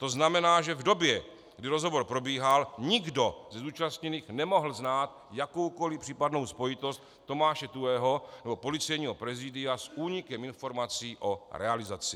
To znamená, že v době, kdy rozhovor probíhal, nikdo ze zúčastněných nemohl znát jakoukoliv případnou spojitost Tomáše Tuhého nebo Policejního prezidia s únikem informací o realizaci.